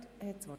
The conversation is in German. der SiK.